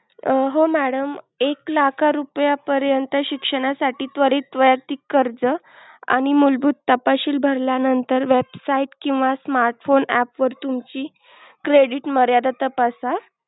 हो madam एक लाख रुपया परत शिक्षणासाठी त्वरित वैयक्तिक कर्ज आणि मूलभूत तपाशिल भरल्या नंतर website किंवा smartphone app वर तुमची credit मर्यादा तपासा.